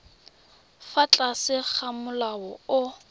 fa tlase ga molao o